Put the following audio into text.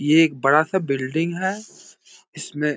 ये एक बड़ा-सा बिल्डिंग है। इसमें --